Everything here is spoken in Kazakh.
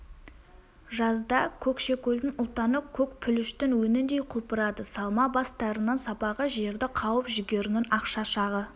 жазда көкшекөлдің ұлтаны көк пүліштің өңіндей құлпырады салма бас тарының сабағы жерді қауып жүгерінің ақ шашағы